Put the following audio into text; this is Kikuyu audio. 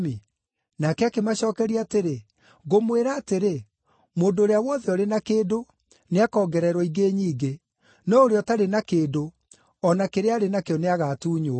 “Nake akĩmacookeria atĩrĩ, ‘Ngũmwĩra atĩrĩ, mũndũ ũrĩa wothe ũrĩ na kĩndũ, nĩakongererwo ingĩ nyingĩ, no ũrĩa ũtarĩ na kĩndũ, o na kĩrĩa arĩ nakĩo nĩagatuunywo.